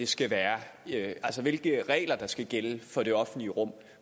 skal være altså hvilke regler der skal gælde for det offentlige rum